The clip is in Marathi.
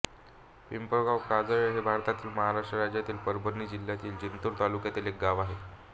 पिंपळगाव काजले हे भारताच्या महाराष्ट्र राज्यातील परभणी जिल्ह्यातील जिंतूर तालुक्यातील एक गाव आहे